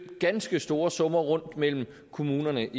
ganske store summer rundt mellem kommunerne